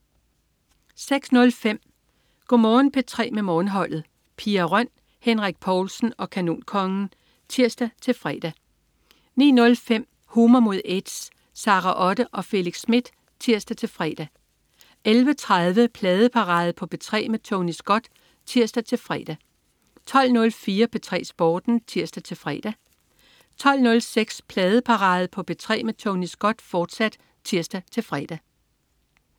06.05 Go' Morgen P3 med Morgenholdet. Pia Røn, Henrik Povlsen og Kanonkongen (tirs-fre) 09.05 Humor mod AIDS. Sara Otte og Felix Smith (tirs-fre) 11.30 Pladeparade på P3 med Tony Scott (tirs-fre) 12.04 P3 Sporten (tirs-fre) 12.06 Pladeparade på P3 med Tony Scott, fortsat (tirs-fre)